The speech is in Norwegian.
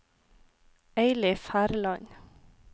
Eilif Herland